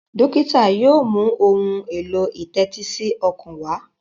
dókítà yóò mú Ohun èlò ìtẹ́tísí ọkàn wá.